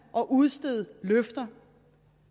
at udstede løfter